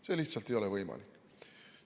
See lihtsalt ei ole võimalik.